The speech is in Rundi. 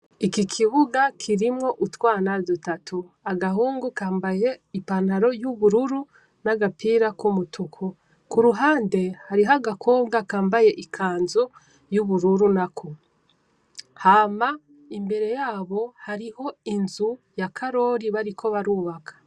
Iki kibuga kirimwo utwana dutatu agahungu kambaye i pantalo yubururu nagapira kumutuku, kuruhande hariho agakobga kambaye ikanzu yubururu nako. Hama imbere yabo hariho inzu ya Karori bariko barubaka.